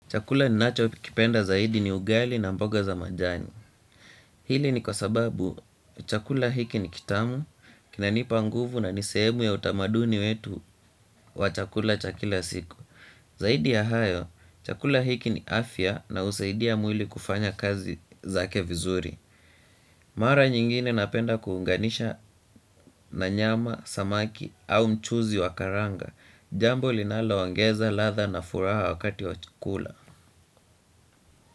Chakula ninachokipenda zaidi ni ugali na mboga za majani. Hili ni kwasababu, chakula hiki ni kitamu, kinanipa nguvu na nisehemu ya utamaduni wetu wa chakula cha kila siku. Zaidi ya hayo, chakula hiki ni afya na husaidia mwili kufanya kazi zake vizuri. Mara nyingine napenda kuunganisha na nyama, samaki au mchuzi wa karanga. Jambo linalo ongeza, ladha na furaha wakati wa chakula.